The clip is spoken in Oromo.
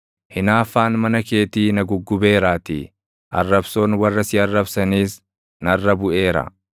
Hinaaffaan mana keetii na guggubeeraatii; arrabsoon warra si arrabsaniis narra buʼeera.